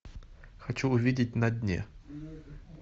хочу увидеть на дне